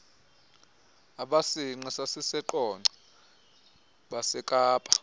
abasinqe sasiseqonce besekapa